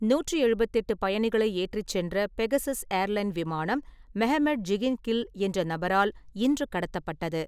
நூற்று எழுபத்தெட்டு பயணிகளை ஏற்றிச் சென்ற பெகசஸ் ஏர்லைன் விமானம் மெஹமெட் ஜிகின் கில் என்ற நபரால் இன்று கடத்தப்பட்டது.